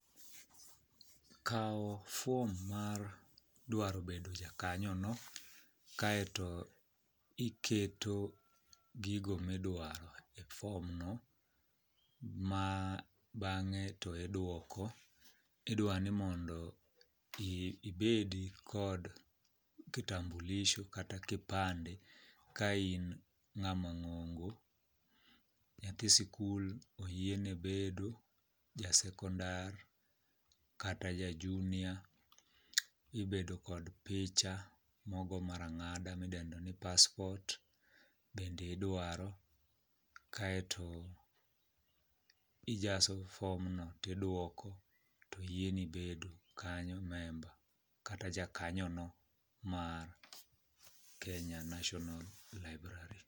Kawo fuom mar dwaro bedo jakanyono kaeto iketo gigo midwaro e fomno ma bang'e to idwoko, idwa ni mondo ibed kod kitambulisho kata kipande ka in ng'ama ng'ongo, nyathi sikul oyiene bedo jasekondar kata ja junia ibedo kod picha mogo mar ang'ada midendo ni paspot bende idwaro kaeto ijaso fomno tidwoko to oyieni bedo kanyo member kata jakanyono mar kenya national library.